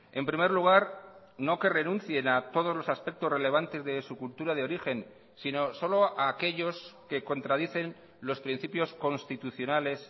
en primer lugar no que renuncien a todos los aspectos relevantes de su cultura de origen sino solo a aquellos que contradicen los principios constitucionales